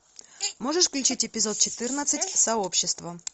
можешь включить эпизод четырнадцать сообщество